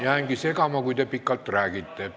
Jäängi segama, kui te pikalt räägite.